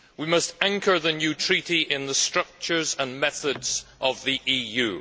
We must anchor the new treaty in the structures and methods of the EU.